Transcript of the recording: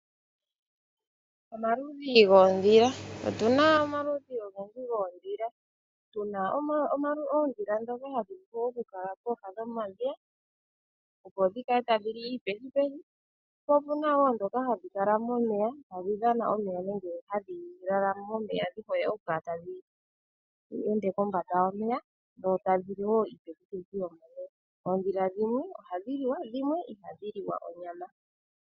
Otuna omaludhi ogendji goondhila, tu na oondhila ndhoka ha dhi vulu oku kala kooha dhomadhiya tadhi li iipethipethi , po opuna ndhoka hadhi kala momeya tadhi dhana momeya nenge hadhi lala momeya dhi hole oku lala kombanda yomeya tadhi li wo uupethipethi. Oondhila dhimwe ohadhi liwa, dhimwe ihadhi li wa.